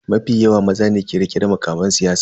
Mafi yawa maza ne ke rike da mukaman siyasa.